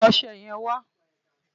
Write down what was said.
Mú ọṣẹ yẹn wà!